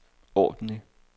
ordentlig